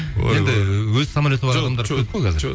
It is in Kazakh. енді өз самолеті бар адамдар көп қой қазір